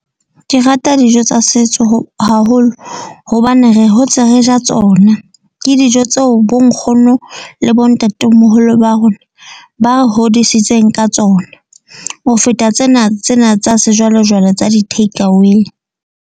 Ke rata dijo tsa setso haholo, hobane re hotse re ja tsona. Ke dijo tseo bo nkgono le bo ntatemoholo ba rona ba re hodisitseng ka tsona. Ho feta tsena tsena tsa sejwalejwale tsa di-take away.